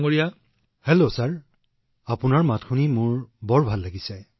নমস্কাৰ ছাৰ আপোনাৰ মাত শুনি মোৰ আনন্দ বাঢ়ি গৈছে মহোদয়